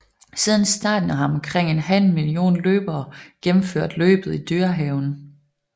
Siden starten har omkring en halv million løbere gennemført løbet i Dyrehaven